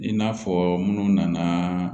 I n'a fɔ minnu nana